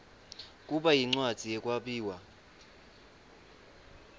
kuba yincwadzi yekwabiwa